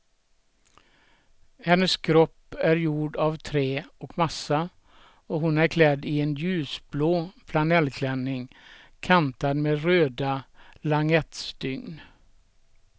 Hennes kropp är gjord av trä och massa och hon är klädd i en ljusblå flanellklänning kantad med röda langettstygn.